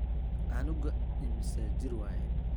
Canuga immisa jir waye.